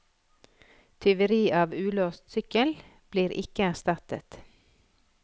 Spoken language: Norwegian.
Tyveri av ulåst sykkel blir ikke erstattet.